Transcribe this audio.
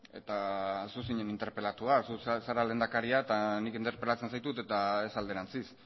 eta zu zinen interpelatua zu zara lehendakaria eta nik interpelatzen zaitut eta ez alderantziz